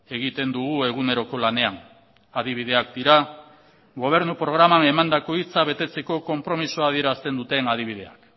egiten dugu eguneroko lanean adibideak dira gobernu programan emandako hitza betetzeko konpromisoa adierazten duten adibideak